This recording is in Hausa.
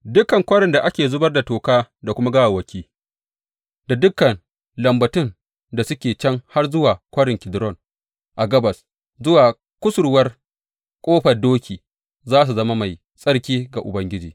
Dukan kwarin da ake zubar da toka da kuma gawawwaki, da dukan lambatun da suke can har zuwa Kwarin Kidron a gabas zuwa kusurwar Ƙofar Doki, za su zama mai tsarki ga Ubangiji.